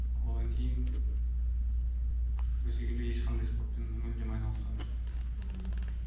одан кейін өсе келе ешқандай спортпен мүлдем айналысқан емеспін мхм